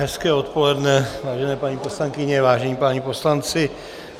Hezké odpoledne, vážené paní poslankyně, vážení páni poslanci.